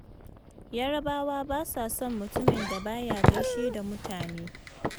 Yarabawa ba sa son mutumin da ba ya gaishe da mutane.